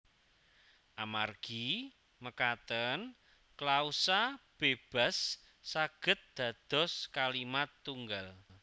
Amargi mekaten klausa bébas saged dados kalimat tunggal